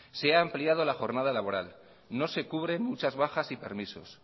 se ha ampliado la jornada laboral no se cubren muchas bajas y permisos